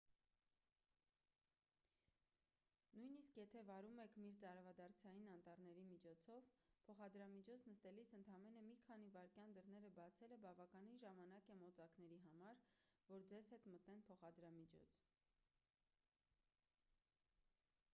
նույնիսկ եթե վարում եք մերձարևադարձային անտառների միջով փոխադրամիջոց նստելիս ընդամենը մի քանի վայրկյան դռները բացելը բավական ժամանակ է մոծակների համար որ ձեզ հետ մտնեն փոխադրամիջոց